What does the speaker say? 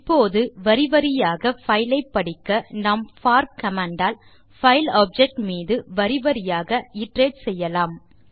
இப்போது வரி வரியாக பைல் ஐ படிக்க நாம் போர் கமாண்ட் ஆல் பைல் ஆப்ஜெக்ட் மீது வரி வரியாக இட்டரேட் செய்யலாம்